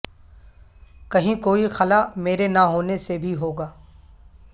کہیں کوئی خلا میرے نہ ہونے سے بھی ہوگا